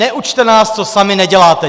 Neučte nás, co sami neděláte.